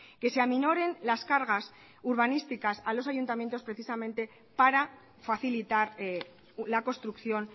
que se aminoren las cargas urbanísticas a los ayuntamientos precisamente para facilitar la construcción